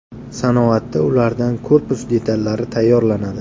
Sanoatda ulardan korpus detallari tayyorlanadi.